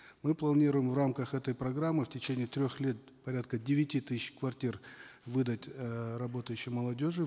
мы планируем в рамках этой программы в течение трех лет порядка девяти тысяч квартир выдать э работающей молодежи